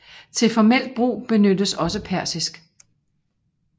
Til formelt brug benyttes også persisk